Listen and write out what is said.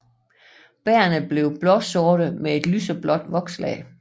Bærrene bliver blåsorte med et lyseblåt vokslag